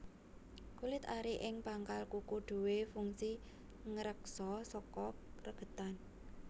Kulit ari ing pangkal kuku duwé fungsi ngreksa saka regetan